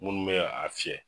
Munnu bɛ a fiyɛ.